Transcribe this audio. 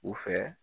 U fɛ